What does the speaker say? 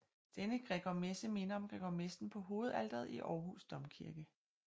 Denne Gregormesse minder om Gregormessen på hovedalteret i Århus Domkirke